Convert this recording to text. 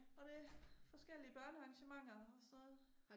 Og det forskellige børnearrangementer og sådan noget